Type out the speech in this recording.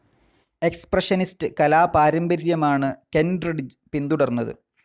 Expressionist കലാ പാരമ്പര്യമാണ് Kentridge പിൻതുടർന്നത്.